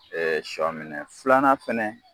sɔ minɛ, filanan fɛnɛ